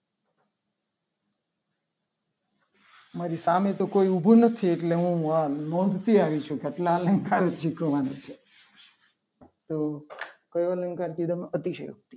મારી સામે તો કોઈ ઉભું નથી. એટલે હું નથી આવી છું. કેટલા અલંકાર શીખવાના છે. તો કયો અલંકાર તમે અતિશયોક્તિ